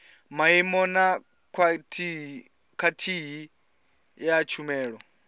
maimo na khwaḽithi ya tshumelo